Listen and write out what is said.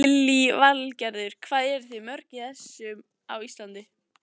Lillý Valgerður: Hvað eruð þið mörg í þessu á Íslandi?